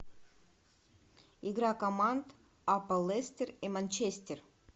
игра команд апл лестер и манчестер